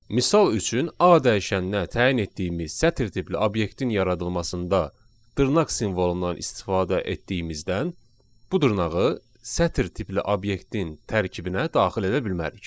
Misal üçün, A dəyişəninə təyin etdiyimiz sətir tipli obyektin yaradılmasında dırnaq simvolundan istifadə etdiyimizdən bu dırnağı sətir tipli obyektin tərkibinə daxil edə bilmərik.